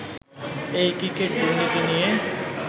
এই ক্রিকেট দুর্নীতি নিয়ে